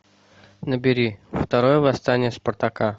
набери второе восстание спартака